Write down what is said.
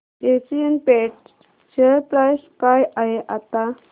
Asian Paints share price काय आहे आता